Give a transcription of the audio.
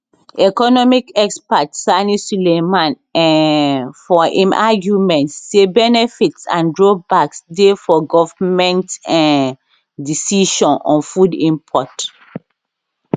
economic expert sani sulaiman um for im arguement say benefits and drawbacks dey for goment um decision on food import